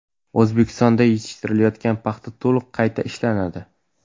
O‘zbekistonda yetishtiriladigan paxta to‘liq qayta ishlanadi.